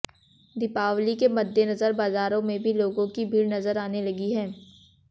दीपावली के मद्देनजर बाजारों में भी लोगों की भीड़ नजर आने लगी है